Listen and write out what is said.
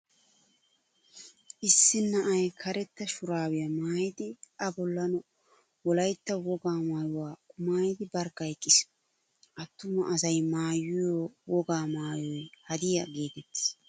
Issi na'ay karetta shuraabiyaa maayidi A bollan Wolaytta wogaa maayuwaa qumaayidi barkka eqqiis. Attuma asay maayiyoo wogaa maayoy hadiyaa geetettees.